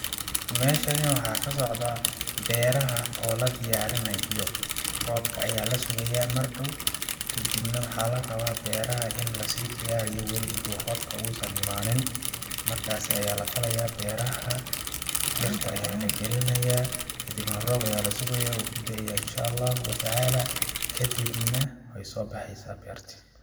Meeshani waxaa ka socdaa beeraha oo la diyaarinayo, roobka ayaa la sugayaa mar dhow kadibna waxaa la rabaa beeraha in lasii diyaariyo wali inta uu roobka uu san imaanin ,markaasi ayaa la falayaa beeraha dhirta ayaa la galinayaa, kadibna ayaa la sugayaa wuu ku daaya inshaallahu wa tacala ,kadibna waxeey soo baxeysa beerta .